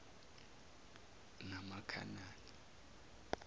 namakhanani